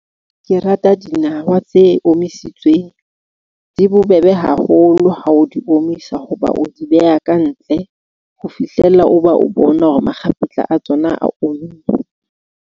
Ke rata dinawa tse omisitsweng di bobebe haholo ha o di omisa. Hoba o di beha ka ntle ho fihlella o ba o bona hore makgapetla a tsona a omme.